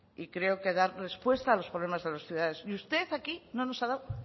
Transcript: y creo que dar respuesta a los problemas de los ciudadanos y usted aquí no nos ha dado